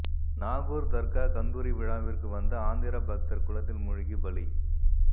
நாகூர் தர்கா கந்தூரி விழாவிற்கு வந்த ஆந்திரா பக்தர் குளத்தில் மூழ்கி பலி